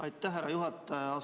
Aitäh, härra juhataja!